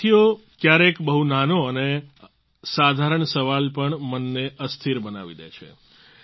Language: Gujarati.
સાથીઓ ક્યારેક ક્યારેક બહુ નાનો અને સાધારણ સવાલ પણ મનને અસ્થિર બનાવી દે છે